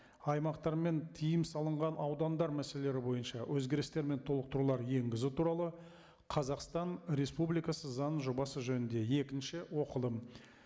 аймақтар мен тыйым салынған аудандар мәселелері бойынша өзгерістер мен толықтырулар енгізу туралы қазақстан республикасы заңының жобасы жөнінде екінші оқылым